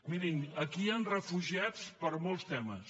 mirin aquí hi han refugiats per molts temes